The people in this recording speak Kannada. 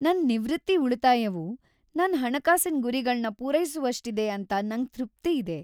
ನನ್ ನಿವೃತ್ತಿ ಉಳಿತಾಯವು ನನ್ ಹಣಕಾಸಿನ್ ಗುರಿಗಳನ್ ಪೂರೈಸುವಸ್ಟಿದೆ ಅಂತ ನಂಗ್ ತೃಪ್ತಿ ಇದೆ.